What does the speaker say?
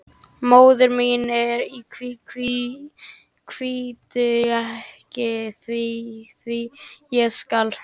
Móðir mín í kví, kví, kvíddu ekki því, því, ég skal.